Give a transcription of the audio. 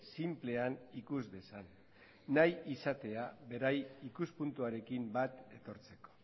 sinplean ikus dezan nahi izatea beraien ikuspuntuarekin bat etortzeko